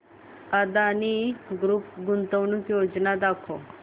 Adani group गुंतवणूक योजना दाखव